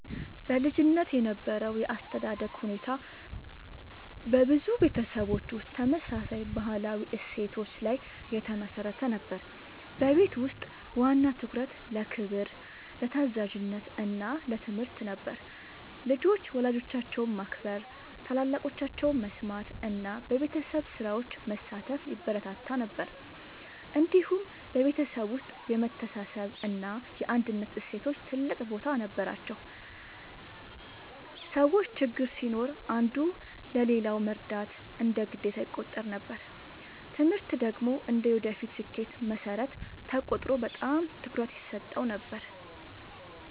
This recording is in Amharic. በልጅነት የነበረው የአስተዳደግ ሁኔታ በብዙ ቤተሰቦች ውስጥ ተመሳሳይ ባህላዊ እሴቶች ላይ የተመሠረተ ነበር። በቤት ውስጥ ዋና ትኩረት ለክብር፣ ለታዛዥነት እና ለትምህርት ነበር። ልጆች ወላጆቻቸውን ማክበር፣ ታላላቆቻቸውን መስማት እና በቤተሰብ ስራዎች መሳተፍ ይበረታታ ነበር። እንዲሁም በቤተሰብ ውስጥ የመተሳሰብ እና የአንድነት እሴቶች ትልቅ ቦታ ነበራቸው። ሰዎች ችግር ሲኖር አንዱ ለሌላው መርዳት እንደ ግዴታ ይቆጠር ነበር። ትምህርት ደግሞ እንደ የወደፊት ስኬት መሠረት ተቆጥሮ በጣም ትኩረት ይሰጠው ነበር።